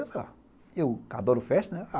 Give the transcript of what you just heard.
Eu falei, ó, eu que adoro festa, né?